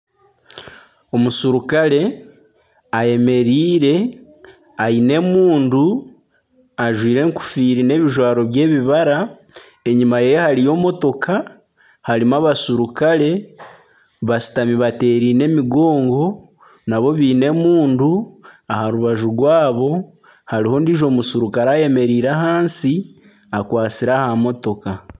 Omusirukare ayemereire aine emundu, ajwaire enkofiira n'ebijwaro by'ebibara. Enyima yeye hariyo motoka. Harimu abasurikare bashutami batereine emigongo nabo baine emundu, aharubaju rwaabo hariho ondijo omusirukare ayemereire ahansi akwatsire aha motoka.